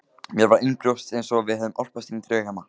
Mér var innanbrjósts einsog við hefðum álpast inní draugheima.